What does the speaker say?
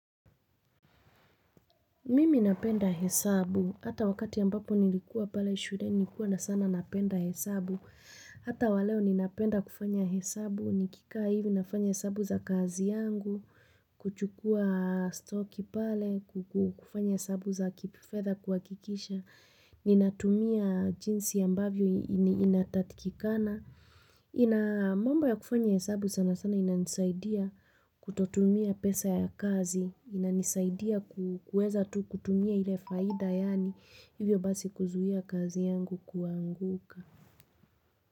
Mimi napenda hesabu, hata wakati ambapo nilikuwa pale shuleni nilikuwa sana napenda hesabu. Hata waleo ninapenda kufanya hesabu. Nikikaa hivi nafanya hesabu za kazi yangu. Kuchukua sitoki pale. Kufanya hesabu za kifedha kuhakikisha. Ninatumia jinsi ambavyo inatakikana. Ina, mambo ya kufanya hesabu sana sana inanisaidia kutotumia pesa ya kazi, inanisaidia kuweza tu kutumia ile faida yaani, hivyo basi kuzuia kazi yangu kuanguka.